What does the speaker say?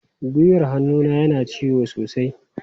Gwiwar hannuna yana ciwo sosai.